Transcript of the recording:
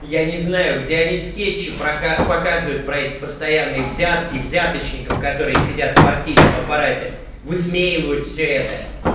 я не знаю где они скетчи показывают про эти постоянные взятки взяточников которые сидят в партийном аппарате высмеивают всё это